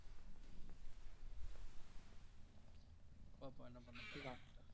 பாப்போம் என்ன பண்ண போறாங்கன்னு